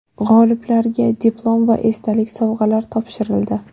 G‘oliblarga diplom va esdalik sovg‘alar topshirildi.